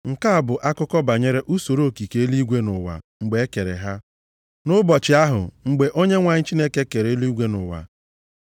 Nke a bụ akụkọ banyere usoro okike eluigwe na ụwa mgbe e kere ha, nʼụbọchị ahụ mgbe Onyenwe anyị Chineke kere eluigwe na ụwa.